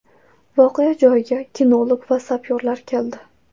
Voqea joyiga kinolog va sapyorlar keldi.